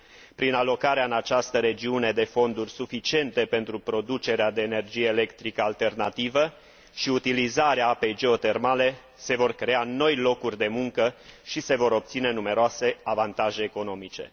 Prin alocarea în această regiune de fonduri suficiente pentru producerea de energie electrică alternativă și utilizarea apei geotermale, se vor crea noi locuri de muncă și se vor obține numeroase avantaje economice.